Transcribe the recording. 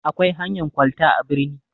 Akwai hanyan kwalta a birni.